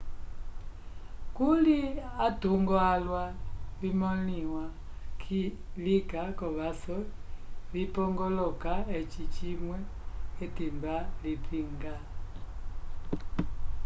kuli atungo alwa vimõliwa lika k'ovaso vipongoloka eci cimwe k'etimba lipinga